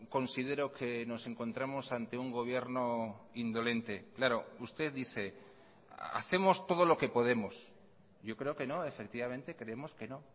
considero que nos encontramos ante un gobierno indolente claro usted dice hacemos todo lo que podemos yo creo que no efectivamente creemos que no